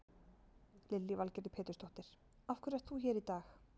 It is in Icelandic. Lillý Valgerður Pétursdóttir: Af hverju ert þú hér í dag?